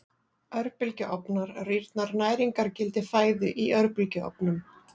Örbylgjuofnar Rýrnar næringargildi fæðu í örbylgjuofnum?